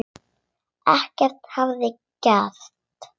Ekkert hefði gerst.